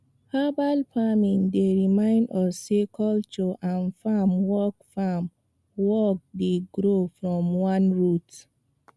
herbal farming dey remind us sey culture and farm work farm work dey grow from one root